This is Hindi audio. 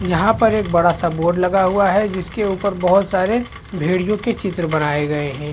यहाँ पर एक बड़ा सा बोर्ड लगा हुआ है जिसके ऊपर बहुत सारे भेड़ीयो के चित्र बनाये गए है ।